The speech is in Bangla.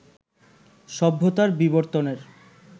সভ্যতার বিবর্তনের